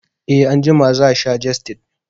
E, Anjima za sha jestid